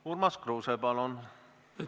Urmas Kruuse, palun!